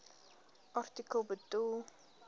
artikel bedoel